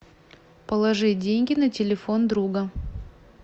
положи деньги на телефон друга